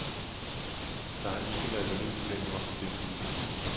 Der har ikke været lønudbetaling op til denne weekend.